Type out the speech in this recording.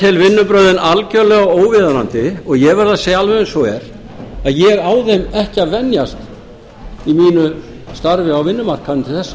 tel vinnubrögðin algerlega óviðunandi og ég verð að segja alveg eins og er að ég á þeim ekki að venjast í mínu starfi á vinnumarkaðnum til þessa ég